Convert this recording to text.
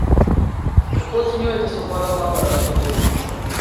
Kako ocenjujete svobodo govora v Sloveniji?